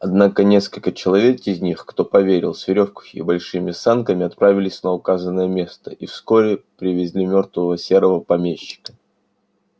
однако несколько человек из них кто поверил с верёвкой и большими санками отправились на указанное место и вскоре привезли мёртвого серого помещика